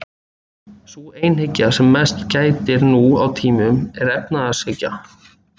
Sú einhyggja sem mest gætir nú á tímum er efnishyggja.